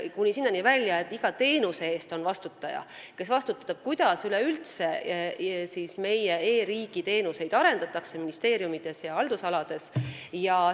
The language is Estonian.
Kuni sinnani välja, et iga teenuse eest on vastutaja, keegi, kes vastutab selle eest, kuidas üldse meie e-riigi teenuseid ministeeriumides ja haldusalades arendatakse.